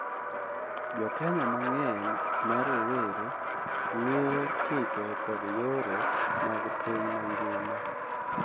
Jo Kenya mang’eny ma rowere ng’eyo chike kod yore mag piny mangima,